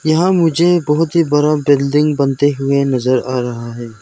यहां मुझे बहुत ही बरा बिल्डिंग बनते हुए नजर आ रहा है।